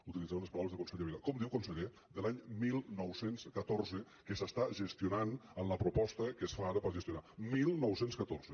utilitzaré unes paraules del conseller vila com diu conseller de l’any dinou deu quatre que s’està gestionant en la proposta que es fa ara per gestionar dinou deu quatre